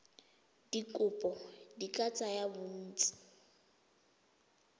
dikopo di ka tsaya bontsi